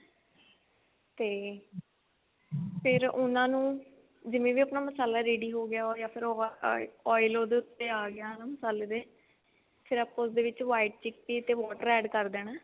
ਤੇ ਫ਼ੇਰ ਉਹਨਾ ਨੂੰ ਜਿਵੇਂ ਵੀ ਆਪਣਾ ਮਸਾਲਾ ready ਹੋਗਿਆ ਫ਼ੇਰ ਉਹ ਓਇਲ ਉਹਦੇ ਉੱਤੇ ਆਗਿਆ ਮਸਾਲੇ ਤੇ ਫ਼ੇਰ ਆਪਾਂ ਉਹਦੇ ਵਿੱਚ white chickpea ਤੇ water add ਕਰ ਦੇਣਾ